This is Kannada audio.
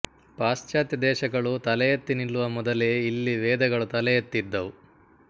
ಪಾಶ್ಚಾತ್ಯ ದೇಶಗಳು ತಲೆಯೆತ್ತಿ ನಿಲ್ಲುವ ಮೊದಲೇ ಇಲ್ಲಿ ವೇದಗಳು ತಲೆಯೆತ್ತಿದ್ದವು